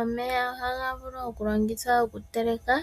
Omeya ohaga vulu okulongithwa okuteleka